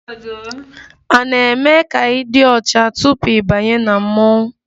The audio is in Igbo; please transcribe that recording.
A na-eme ka ị dị ọcha tupu ị banye na mmọnwụ?